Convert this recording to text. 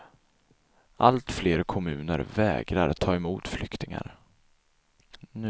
Allt fler kommuner vägrar ta emot flyktingar.